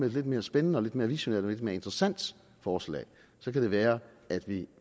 et lidt mere spændende lidt mere visionært og lidt mere interessant forslag så kan det være at vi